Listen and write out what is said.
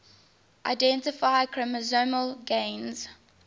identify chromosomal gains